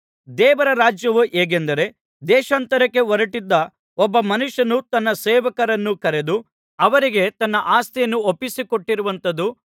ದೇವರ ರಾಜ್ಯವು ಹೇಗೆಂದರೆ ದೇಶಾಂತರಕ್ಕೆ ಹೊರಟ್ಟಿದ್ದ ಒಬ್ಬ ಮನುಷ್ಯನು ತನ್ನ ಸೇವಕರನ್ನು ಕರೆದು ಅವರಿಗೆ ತನ್ನ ಆಸ್ತಿಯನ್ನು ಒಪ್ಪಿಸಿಕೊಟ್ಟಂತಿರುವುದು